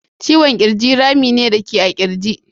Ciwon kirji rafi ne da a ke ji a kirji.